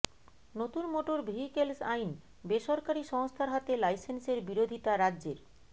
নতুন motor vehicles আইন বেসরকারি সংস্থার হাতে লাইসেন্সের বিরোধিতা রাজ্যের